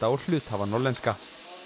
og hluthafa Norðlenska